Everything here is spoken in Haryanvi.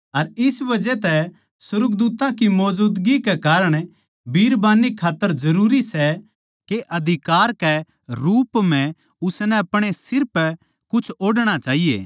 अर इस बजह तै अर सुर्गदूत्तां की मौजूदगी कै कारण बिरबान्नी ताहीं जरूरी सै के अधिकार के रूप म्ह उसनै अपणे सिर पै कुछ ओढ़णा चाहिए